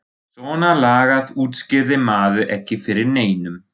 Svona lagað útskýrði maður ekki fyrir neinum.